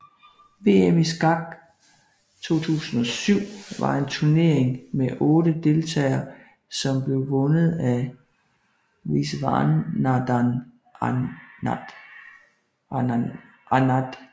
VM i skak 2007 var en turnering med 8 deltagere som blev vundet af Viswanathan Anand